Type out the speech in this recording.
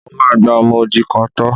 Mo máa gba ọmọ odi kan tọ́.